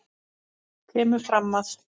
kemur fram að